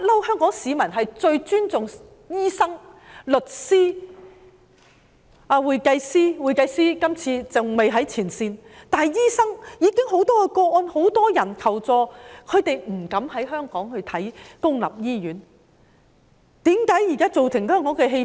香港市民一向非常尊重醫生、律師、會計師——會計師今次還未在前線——但關於醫生，我們最近收到很多求助個案，就是警務人員不敢到公立醫院看病。